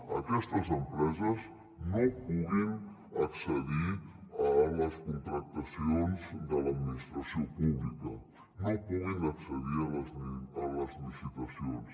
que aquestes empreses no puguin accedir a les contractacions de l’administració pública no puguin accedir a les licitacions